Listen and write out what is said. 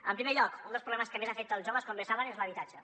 en primer lloc un dels problemes que més afecta els joves com bé saben és l’habitatge